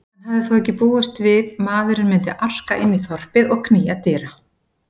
Hann hafði þó ekki búist við maðurinn myndi arka inn í þorpið og knýja dyra.